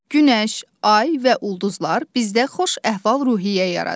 Günəş, ay və ulduzlar bizdə xoş əhval-ruhiyyə yaradır.